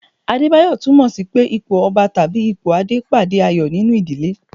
Adebayo tunmo sì pé ipò Ọba tàbí ipò Adé pàdé ayọ̀ nínú ìdílé.